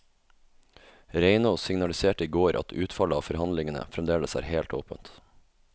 Reinås signaliserte i går at utfallet av forhandlingene fremdeles er helt åpent.